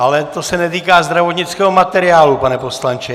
Ale to se netýká zdravotnického materiálu, pane poslanče.